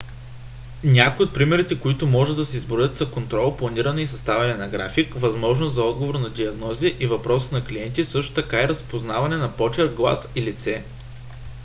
някои от примерите които може да се изброят са контрол планиране и съставяне на график възможност за отговор на диагнози и въпроси на клиенти също така и разпознаване на почерк глас и лице